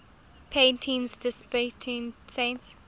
paintings depicting saints